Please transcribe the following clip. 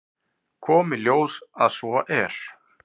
Kom í ljós að svo er.